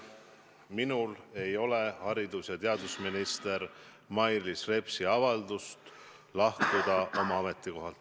Minul ei ole haridus- ja teadusminister Mailis Repsi avaldust lahkuda oma ametikohalt.